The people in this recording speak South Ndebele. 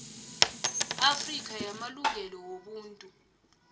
afrika yamalungelo wobuntu